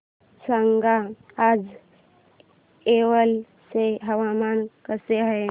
सांगा आज येवला चे हवामान कसे आहे